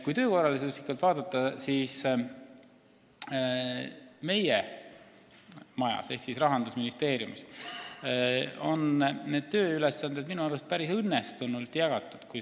Kui töökorraldust analüüsida, siis meie majas ehk siis Rahandusministeeriumis on tööülesanded minu arust päris õnnestunult jagatud.